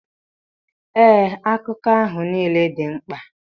Ee, akuku ahụ nile di nkpa